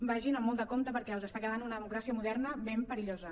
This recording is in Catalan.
vagin amb molt de compte perquè els està quedant una democràcia moderna ben perillosa